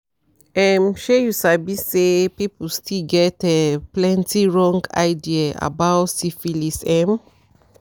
um she you sabisay people still get um plenty wrong idea about syphilis